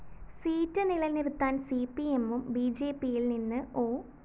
seat നിലനിര്‍ത്താന്‍ സിപിഎമ്മും ബിജെപിയില്‍ നിന്ന് ഒ